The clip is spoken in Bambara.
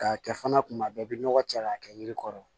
K'a kɛ fana kuma bɛɛ i bɛ nɔgɔ cɛ k'a kɛ yiri kɔrɔ